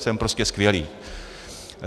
Jsem prostě skvělý.